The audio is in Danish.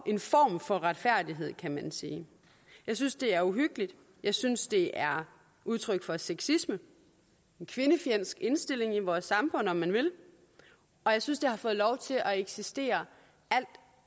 en form for retfærdighed kan man sige jeg synes det er uhyggeligt jeg synes det er udtryk for sexisme en kvindefjendsk indstilling i vores samfund om man vil og jeg synes det har fået lov til at eksistere alt